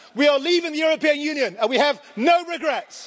We are leaving the European Union and we have no regrets.